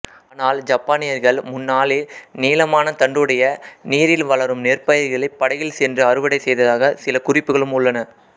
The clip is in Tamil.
ஆனால் ஜப்பானியர்கள் முன்னாளில் நீளமான தண்டுடைய நீரில் வளரும் நெற்பயிர்களை படகில் சென்று அறுவடை செய்ததாக சில குறிப்புகளும் உள்ளன